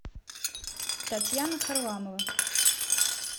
татьяна харламова